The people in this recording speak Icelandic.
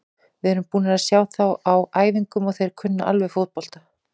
Við erum búnir að sjá þá á æfingum og þeir kunna alveg fótbolta.